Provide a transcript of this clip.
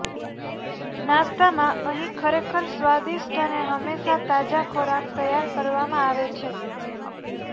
નાસ્તામાં અહીં ખરેખર સ્વાદિષ્ટ અને હંમેશા તાજા ખોરાક તૈયાર કરવામાં આવે છે